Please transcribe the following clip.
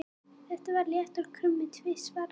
Það var léttur krummi tvisvar.